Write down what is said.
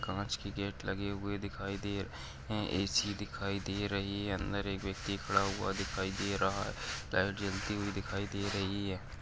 कांच के गेट लगे हुए दिखाई दे र हे हैं ए. सी. दिखाई दे रही हैं। अंदर एक व्यक्ति खड़ा हुआ दिखाई दे रहा है लाइट जलती हुई दिखाई दे रही है।